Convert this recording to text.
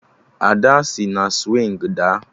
Ada sị na swịngị daa